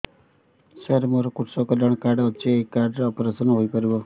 ସାର ମୋର କୃଷକ କଲ୍ୟାଣ କାର୍ଡ ଅଛି ଏହି କାର୍ଡ ରେ ଅପେରସନ ହେଇପାରିବ